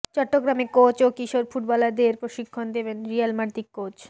চট্টগ্রামে কোচ ও কিশোর ফুটবলাদের প্রশিক্ষণ দিবেন রিয়াল মাদ্রিদ কোচ